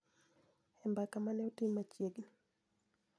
E mbaka ma ne otim machiegni